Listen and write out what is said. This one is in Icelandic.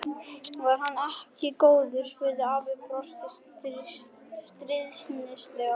Var hann ekki góður? spurði afi og brosti stríðnislega.